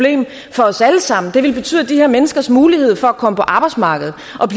for os alle sammen det ville betyde at de her menneskers mulighed for at komme på arbejdsmarkedet og